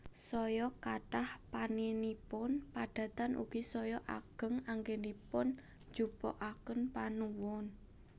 Saya kathah panénipun padatan ugi saya ageng anggénipun ngunjukaken panuwun